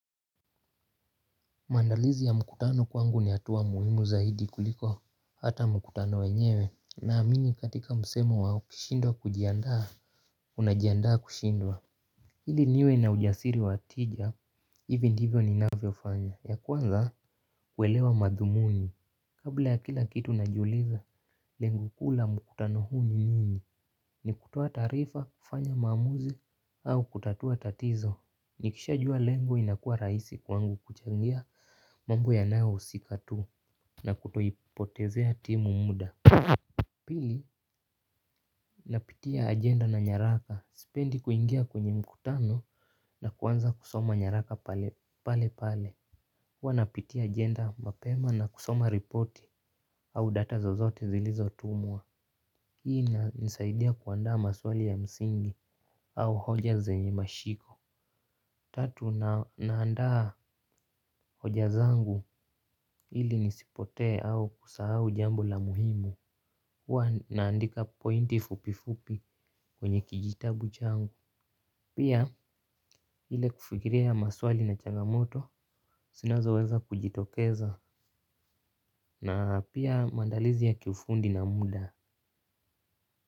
Maandalizi ya mkutano kwangu ni hatua muhimu zaidi kuliko hata mkutano wenyewe na amini katika msemo wa ukishindwa kujiandaa unajiandaa kushindwa ili niwe na ujasiri wa tija hivi ndivyo ninavyofanya ya kwanza kuelewa madhumuni. Kabla ya kila kitu najiuliza lengo kuu la mkutano huu ni nini ni kutoa taarifa kufanya maamuzi au kutatua tatizo. Nikishajua lengo inakuwa rahisi kwangu kuchangia mambo yanayohusika tu na kutoipotezea timu muda. Pili napitia agenda na nyaraka, sipendi kuingia kwenye mkutano na kuanza kusoma nyaraka pale pale huwa napitia agenda mapema na kusoma ripoti au data zozote zilizotumwa. Hii inanisaidia kuandaa maswali ya msingi au hoja zenye mashiko. Tatu naandaa hoja zangu ili nisipotee au kusahau jambo la muhimu. Huwa naandika pointi fupi fupi kwenye kijitabu changu. Pia ile kufikiria ya maswali na changamoto zinazoweza kujitokeza. Na pia maandalizi ya kiufundi na muda.